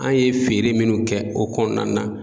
An ye feere minnu kɛ o kɔnɔna na